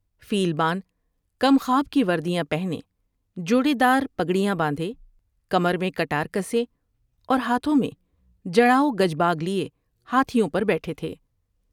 فیل بان کمخواب کی وردیاں پہنے ، جوڑے دار پگڑیاں باندھے ، کمر میں کٹار کسے اور ہاتھوں میں جڑاؤ گج باگ لیے ہاتھیوں پر بیٹھے تھے ۔